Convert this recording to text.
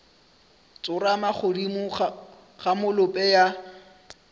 tsorama godimo ga molope ya